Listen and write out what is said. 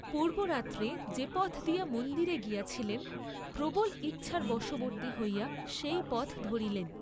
পূর্ব্বরাত্রে যে পথ দিয়া মন্দিরে গিয়াছিলেন, প্রবল ইচ্ছার বশবর্ত্তী হইয়া সেই পথ ধরিলেন।